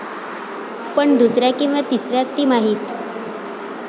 पण दुसऱ्या किंवा तिसऱ्या तिमाहीत?